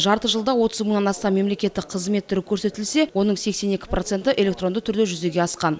жарты жылда отыз мыңнан астам мемлекеттік қызмет түрі көрсетілсе оның сексен екі проценті электронды түрде жүзеге асқан